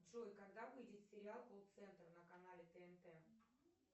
джой когда выйдет сериал колл центр на канале тнт